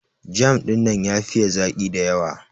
Jam dinnan ya fiye zaki da yawa.